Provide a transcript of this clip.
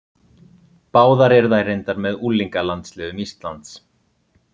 Báðar eru þær reyndar með unglingalandsliðum Íslands.